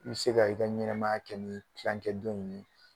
I bɛ se ka i ka ɲɛnamaya kɛ ni tilancɛ dɔ in ye